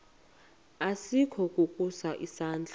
asikukho ukusa isandla